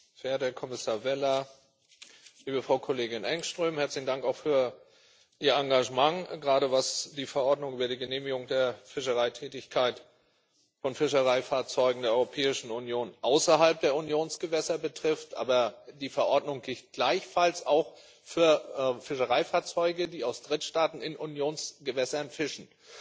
Verehrter Herr Kommissar Vella, liebe Frau Kollegin Engström, herzlichen Dank auch für Ihr Engagement, gerade was die Verordnung über die Genehmigung der Fischereitätigkeit von Fischereifahrzeugen der Europäischen Union außerhalb der Unionsgewässer betrifft, aber die Verordnung gilt gleichfalls auch für Fischereifahrzeuge aus Drittstaaten, die in Unionsgewässern fischen.